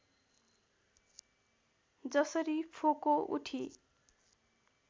जसरी फोको उठी